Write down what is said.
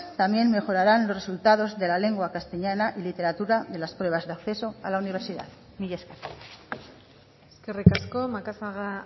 también mejoraran los resultados de la lengua castellana y literatura de las pruebas de acceso a la universidad mila esker eskerrik asko macazaga